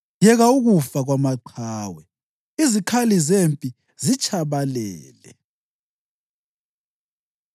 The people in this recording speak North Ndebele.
Yeka ukufa kwamaqhawe! Izikhali zempi zitshabalele!”